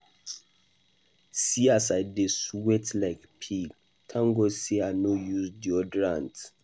See as I dey sweat like pig, thank God say I use deodorant.